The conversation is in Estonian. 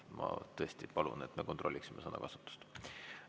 Ma tõesti palun, et me kontrolliksime sõnakasutust.